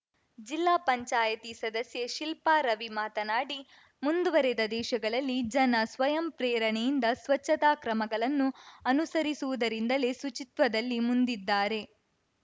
ಜಿಲ್ಲಾ ಪಂಚಾಯಿತಿ ಸದಸ್ಯೆ ಶಿಲ್ಪಾ ರವಿ ಮಾತನಾಡಿ ಮುಂದುವರೆದ ದೇಶಗಳಲ್ಲಿ ಜನ ಸ್ವಯಂ ಪ್ರೇರಣೆಯಿಂದ ಸ್ವಚ್ಛತಾ ಕ್ರಮಗಳನ್ನು ಅನುಸರಿಸುವುದರಿಂದಲೇ ಶುಚಿತ್ವದಲ್ಲಿ ಮುಂದಿದ್ದಾರೆ